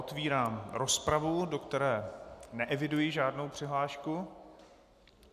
Otevírám rozpravu, do které neeviduji žádnou přihlášku.